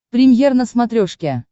премьер на смотрешке